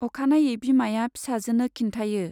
अखानायै बिमाया फिसाजोनो खिन्थायो।